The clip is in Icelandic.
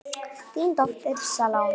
Þín dóttir, Salome.